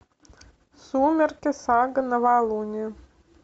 сумерки сага новолуние